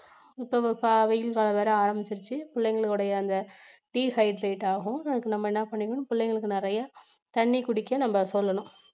இப்ப வெயில் காலம் வேற ஆரம்பிச்சிடிச்சி பிள்ளைங்களுடைய அந்த dehydrate ஆகும் அதுக்கு நம்ம என்ன பண்ணிடனும் பிள்ளைங்களுக்கு நிறைய தண்ணி குடிக்க நம்ம சொல்லணும்.